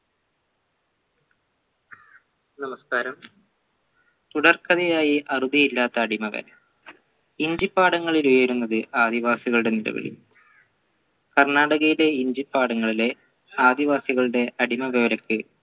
നമസ്കാരം തുടർക്കണിയായി അറുതിയില്ലാത്ത അടിമകൾ ഇഞ്ചിപ്പാടങ്ങളിലെ ആദിവാസികളുടെ നിലവിളി കർണാടകയിലെ ഇഞ്ചി പാഠങ്ങളിലെ ആദിവാസികളുടെ അടിമ വേലക്ക്